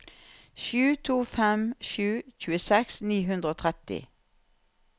sju to fem sju tjueseks ni hundre og tretti